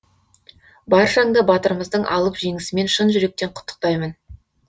баршаңды батырымыздың алып жеңысімен шын жүректен құттықтаймын